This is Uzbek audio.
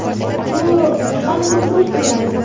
Bu qonsiz urush bo‘ladi.